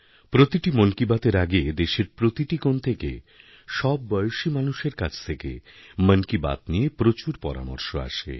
প্রতিটি মন কি বাতএর আগেদেশের প্রতিটি কোণ থেকে সব বয়সী মানুষের কাছ থেকে মন কি বাত নিয়ে প্রচুর পরামর্শ আসে